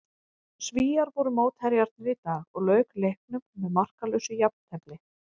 Svíar voru mótherjarnir í dag og lauk leiknum með markalausu jafntefli.